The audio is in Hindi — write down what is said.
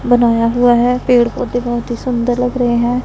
बनाया हुआ है पेड़ पौधे बहुत ही सुंदर लग रहे हैं।